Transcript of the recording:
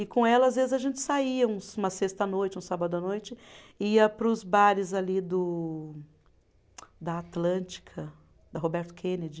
E com ela, às vezes, a gente saía um, uma sexta à noite, um sábado à noite, ia para os bares ali do, da Atlântica, da Roberto Kennedy.